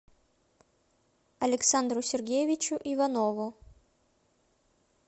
александру сергеевичу иванову